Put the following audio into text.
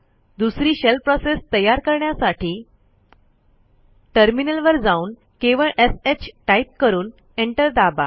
दुसरी shell process तयार करण्यासाठी टर्मिनलवर जाऊन केवळ shटाईप करून एंटर दाबा